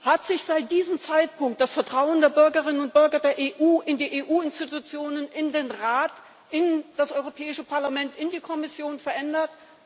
Hat sich seit diesem Zeitpunkt das Vertrauen der Bürgerinnen und Bürger der EU in die EU Institutionen, in den Rat, in das Europäische Parlament, in die Kommission verändert?